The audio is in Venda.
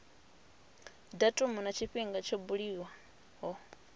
datumu na tshifhinga tsho buliwaho